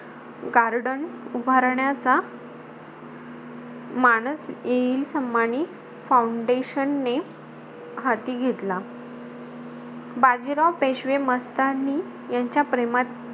Garden उभारण्याचा मानस एइ सम्मानी फौंडेशनने हाती घेतला. बाजीराव पेशवे मस्तानी यांच्या प्रेमाची,